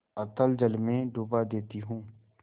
अतल जल में डुबा देती हूँ